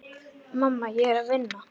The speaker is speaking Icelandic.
Mamma, ég er að vinna.